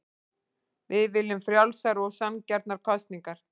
Við viljum frjálsar og sanngjarnar kosningar